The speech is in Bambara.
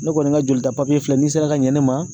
Ne kɔni ka jolita filɛ n'i sera ka ɲɛ ne ma